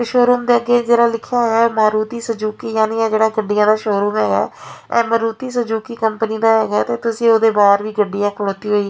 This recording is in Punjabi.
ਸ਼ੋਰੂਮ ਦੇ ਅੱਗੇ ਜਿਹੜਾ ਲਿਖਿਆ ਹੋਇਆ ਮਾਰੂਤੀ ਸੈਜੂਕੀ ਯਾਨੀ ਇਹ ਜਿਹੜਾ ਗੱਡੀਆਂ ਦਾ ਸ਼ੋਰੂਮ ਹੈਗਾ ਇਹ ਮਾਰੂਤੀ ਸੋਜੂਕੀ ਕੰਪਨੀ ਦਾ ਹੈਗਾ ਤੇ ਤੁਸੀਂ ਉਹਦੇ ਬਾਹਰ ਵੀ ਗੱਡੀ --